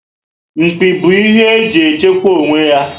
Mpi bu ihe ehi ji echekwa onwe ya